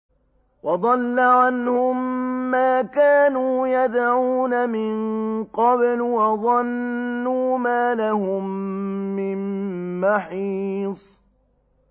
وَضَلَّ عَنْهُم مَّا كَانُوا يَدْعُونَ مِن قَبْلُ ۖ وَظَنُّوا مَا لَهُم مِّن مَّحِيصٍ